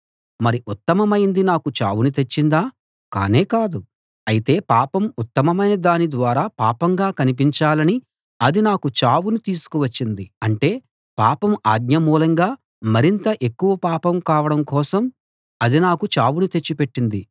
మరి ఉత్తమమైంది నాకు చావును తెచ్చిందా కానే కాదు అయితే పాపం ఉత్తమమైన దాని ద్వారా పాపంగా కనిపించాలని అది నాకు చావును తీసుకు వచ్చింది అంటే పాపం ఆజ్ఞ మూలంగా మరింత ఎక్కువ పాపం కావడం కోసం అది నాకు చావును తెచ్చిపెట్టింది